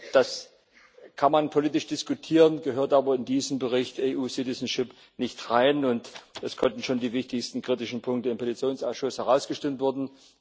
Das kann man politisch diskutieren, gehört aber in diesen Bericht über die Unionsbürgerschaft nicht hinein, und es konnten schon die wichtigsten kritischen Punkte im Petitionsausschuss herausgestimmt werden.